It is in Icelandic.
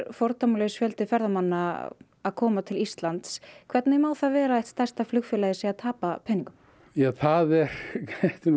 fordæmalaus fjöldi ferðamanna að koma til Íslands hvernig má það vera að eitt stærsta flugfélagið sé að tapa peningum